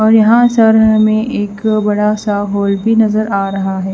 और यहां सर हमें एक बड़ा सा होल भी नजर आ रहा है।